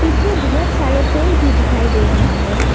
पिछे बहोत सारे पेड़ भी दिखाई दे रहा है।